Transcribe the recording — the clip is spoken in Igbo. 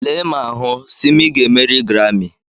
Lee ma hụ, Simi ga-emeri Garami.